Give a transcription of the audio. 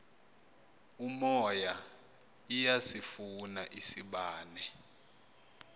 umoya iyasifuna isibane